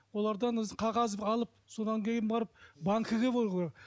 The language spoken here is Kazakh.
олардан қағаз алып содан кейін барып банкіге